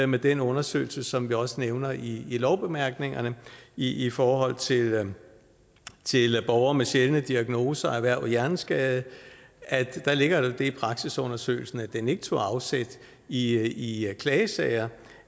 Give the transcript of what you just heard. med den undersøgelse som vi også nævner i lovbemærkningerne i i forhold til til borgere med sjældne diagnoser erhvervet hjerneskade at der ligger i praksisundersøgelsen at den ikke tog afsæt i i klagesager